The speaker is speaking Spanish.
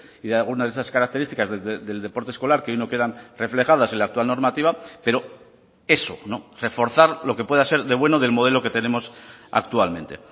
y de algunas de esas características del deporte escolar que hoy no quedan reflejadas en la actual normativa pero eso no reforzar lo que pueda ser de bueno del modelo que tenemos actualmente